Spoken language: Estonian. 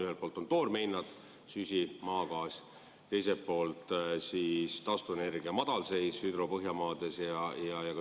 Ühelt poolt on toormehinnad , teiselt poolt taastuvenergia madalseis .